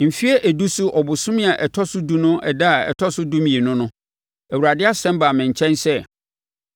Mfeɛ edu so bosome a ɛtɔ so edu no ɛda a ɛtɔ so dumienu no, Awurade asɛm baa me nkyɛn sɛ: